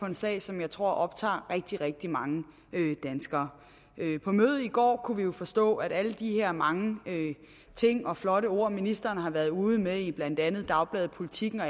en sag som jeg tror optager rigtig rigtig mange danskere på mødet i går kunne vi jo forstå at alle de her mange ting og flotte ord ministeren har været ude med i blandt andet dagbladet politiken og